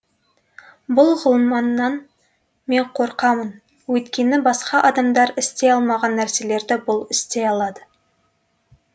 бұл ғылманнан мен қорқамын өйткені басқа адамдар істей алмаған нәрселерді бұл істей алады